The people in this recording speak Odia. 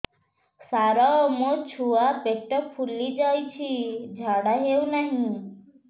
ସାର ମୋ ଛୁଆ ପେଟ ଫୁଲି ଯାଉଛି ଝାଡ଼ା ହେଉନାହିଁ